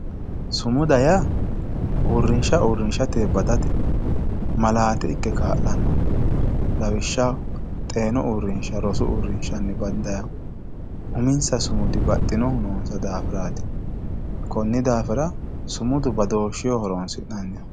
sumuda yaa uurrinsha uurrinshatewiinni badate malaate ikke kaa'lannoho lawishshaho teenu uurrinsha rosu uurrinshawiinni bandannihu uminsa sumudi baxxinohu noonsa daafiraati konni daafira sumudu badooshsheho horonsi'nanniho.